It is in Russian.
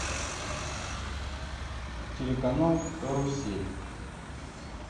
телеканал карусель